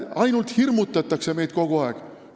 Ainult hirmutatakse meid kogu aeg!